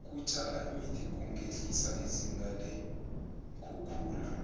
ukutjala imithi kungehlisa izinga leenkhukhula